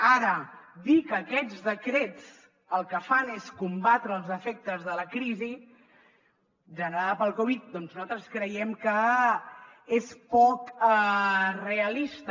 ara dir que aquests decrets el que fan és combatre els efectes de la crisi generada per la covid doncs nosaltres creiem que és poc realista